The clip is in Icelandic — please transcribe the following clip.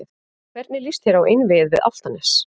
Hvernig lýst þér á einvígið við Álftanes?